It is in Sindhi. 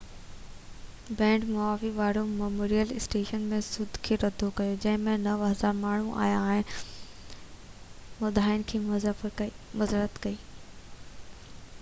band Maui War Memorial Stadium ۾ show کي رد ڪيو جنهن ۾ 9000 ماڻهو آيا هئا ۽ مداحن کان معذرت ڪئي